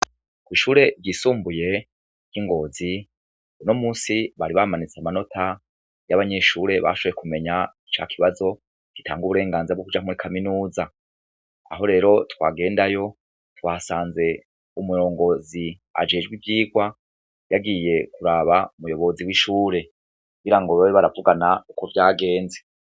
Kwishure ryisumbuye y'ingozi unomunsi bari bamanitse amanota y'abanyeshure bashoboye kumenya ca kibazo gitanga uburenganzira bwo kuja muri kaminuza aho rero twagendayo twasanze umurongozi ajejwe ivyigwa yagiye kuraba umuyobozi w'ishure kugira ngo babe baravugana uko vyagenze.